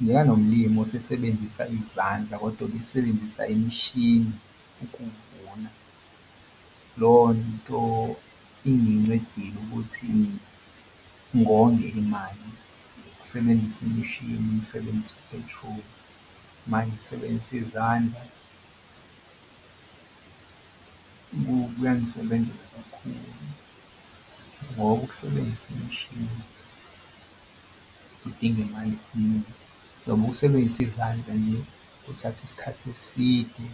Le eyalo mlimi osebenzisa izandla kodwa obesebenzisa imishini ukuvuna lo nto ingincedile ukuthi ngonge imali ukusebenzisa imishini, ngisebenzi u-petrol manje ukusebenzisa izandla kuyangisebenzela kakhulu ngoba ukusebenzisa imishini kudinga imali eningi noma ukusebenzisa izandla nje kuthatha isikhathi eside